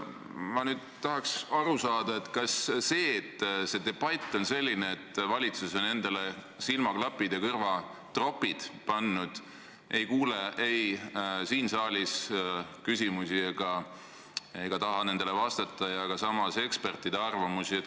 Ma tahaksin aru saada, kas see debatt on selline, et valitsus on endale silmaklapid ja kõrvatropid pannud, nii et ei kuule ei siin saalis küsimusi ega taha nendele vastata ega kuula ka ekspertide arvamusi.